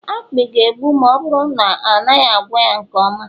akpị ga-egbu ma ọ bụrụ na a naghị agwọ ya nke ọma